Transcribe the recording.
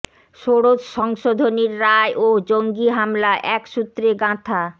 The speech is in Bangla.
ষোড়শ সংশোধনীর রায় ও জঙ্গি হামলা এক সূত্রে গাঁথা